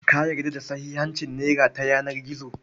Ka yarda da sahihancin nera ta yanar gizo?